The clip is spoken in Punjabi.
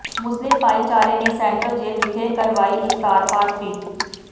ਮੁਸਲਿਮ ਭਾਈਚਾਰੇ ਨੇ ਸੇਟਰਲ ਜੇਲ੍ਹ ਵਿਖੇ ਕਰਵਾਈ ਇਫਤਾਰ ਪਾਰਟੀ